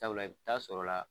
Sabula i taa sɔrɔla